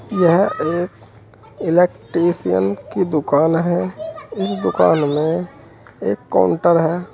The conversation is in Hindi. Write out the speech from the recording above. यह एक इलेक्ट्रिशियन की दुकान है इस दुकान में एक काउंटर है।